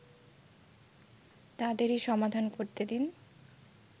তাদেরই সমাধান করতে দিন